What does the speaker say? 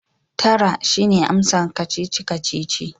Tara! shine amsar kacici-kacici